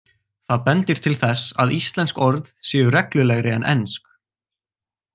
Það bendir til þess að íslensk orð séu reglulegri en ensk.